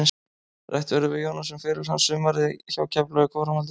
Rætt verður við Jónas um feril hans, sumarið hjá Keflavík og framhaldið.